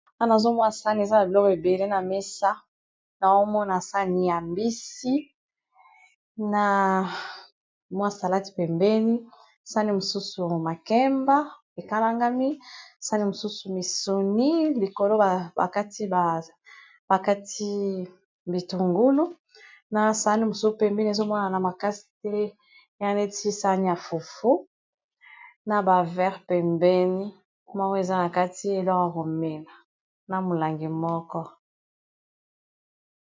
Awa, nazo mona sani eza na biloko ebele na mesa. Na omona sani ya mbisi na mwa salati pembeni, sani mosusu makemba ekalangami, sani mosusu misuni, likolo ba ba kati ba kati bitungulu. Na sani mosusu pembeni, ezo monana makasi te. Eya neti sani ya fufu, naba vere pembeni. Moko eza na kati eloko ya komela na molangi moko.